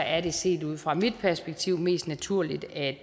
er det set ud fra mit perspektiv mest naturligt at